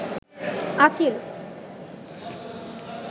আচিল